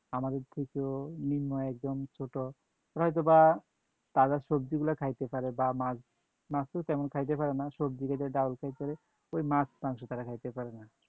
আমাদের থেকেও নিম্ন একদম ছোট ওরা হয়তোবা তাজা সবজিগুলা খাইতে পারে, বা মাছ, মাছ তো তেমন খাইতে পারে না। সবজি খাইতে, ডাউল খাইতে পারে, ঐ মাছ মাংস তারা খাইতে পারে না